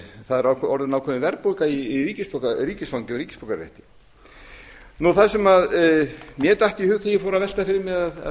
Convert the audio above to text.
það er orðin ákveðin verðbólga í ríkisfangi og ríkisborgararétti það sem mér datt í hug þegar ég fór að velta fyrir mér að